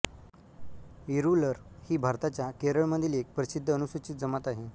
इरूलर ही भारताच्या केरळमधील एक प्रसिद्ध अनुसूचित जमात आहे